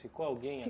Ficou alguém